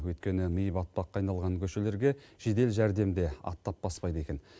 өйткені ми батпаққа айналған көшелерге жедел жәрдем де аттап баспайды екен